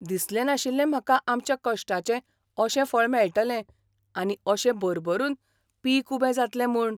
दिसलें नाशिल्लें म्हाका आमच्या कश्टाचें अशें फळ मेळटलें आनी अशें भरभरून पीक उबें जातलें म्हूण.